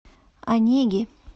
онеги